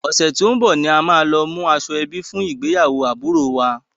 Ọ̀sẹ̀ tí ó ń bọ̀ ni a máa lọ mú aṣọ ẹbí fún ìgbéyàwó àbúròo wa.